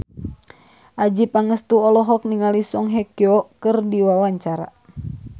Adjie Pangestu olohok ningali Song Hye Kyo keur diwawancara